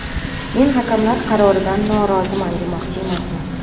Men hakamlar qaroridan noroziman demoqchi emasman.